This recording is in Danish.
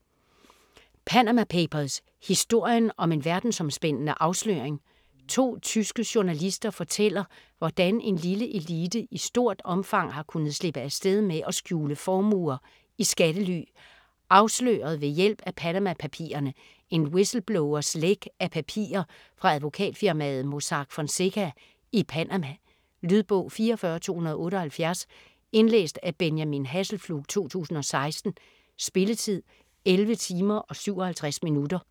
Panama papers: historien om en verdensomspændende afsløring To tyske journalister fortæller, hvordan en lille elite i stort omfang har kunnet slippe afsted med at skjule formuer i skattely. Afsløret ved hjælp af "Panama-papirerne", en whistleblowers læk af papirer fra advokatfirmaet Mossack Fonseca i Panama. Lydbog 44278 Indlæst af Benjamin Hasselflug, 2016. Spilletid: 11 timer, 57 minutter.